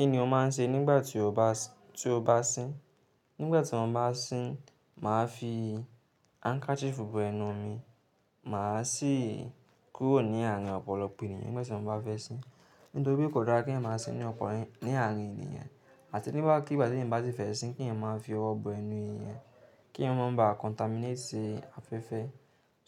Kí ni o máa ń ṣe nígbà tí o bá, tí o bá sín? Nígbà tí mo bá sín, màá fi handkerchief bo ẹnu mi, mà á sì kúrò ní àárín ọ̀pọ̀lọpọ̀ ènìyàn nígbà tí mo bá fẹ́ sín. Nítorí kò dára kí ènìyàn máa sín ní ọ̀pọ̀lọpọ̀ ní àárín ènìyàn. Àti nígbàkigbà tí ènìyàn bá sì fẹ́ sín, kí ènìyàn máa fi ọwọ́ bo ẹnu èèyàn, kí èèyàn má ba contaminate afẹ́fẹ́.